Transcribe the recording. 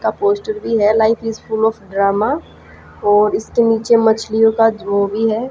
का पोस्टर भी है life is full of drama और इसके नीचे मछलियों का जो भी है।